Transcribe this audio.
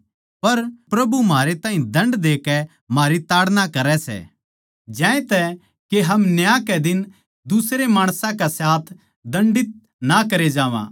पर प्रभु म्हारै ताहीं दण्ड देकै म्हारी ताड़ना करै सै ज्यांतै के हम न्याय के दिन दुसरे माणसां के साथ दंडित ना करे जावां